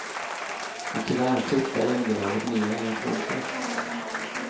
Men tyvärr skiftade underlaget mer än jag trodde.